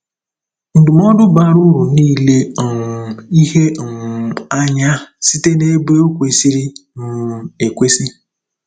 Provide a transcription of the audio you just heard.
Ndụmọdụ bara uru n'ile um ihe um anya Site n'Ebe Ọ Kwesịrị um Ekwesị